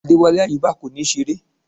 Adewale Ayuba kò ní ṣeré